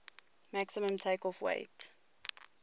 maximum takeoff weight